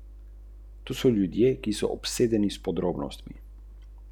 Naši svetniki nikakor niso bili organizatorji teh nesrečnih nemirov.